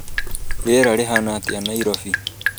rĩera rĩhana atia Nairobi